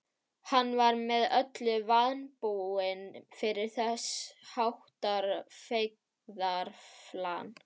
Hann var með öllu vanbúinn fyrir þess háttar feigðarflan.